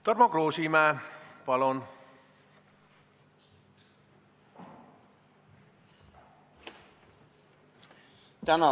Tarmo Kruusimäe, palun!